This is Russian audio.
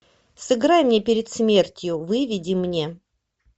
сыграй мне перед смертью выведи мне